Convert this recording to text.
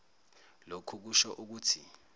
lokhu kusho ukuthi